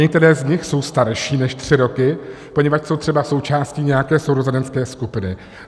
Některé z nich jsou starší než tři roky, poněvadž jsou třeba součástí nějaké sourozenecké skupiny.